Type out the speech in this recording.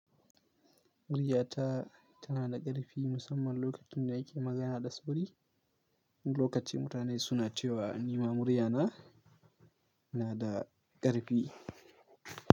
Muriya ta tana da ƙarfi musamman lokacin da nake magana da sauri wani lokaci mutane suna cewa ni ma murya na, da ƙarfi.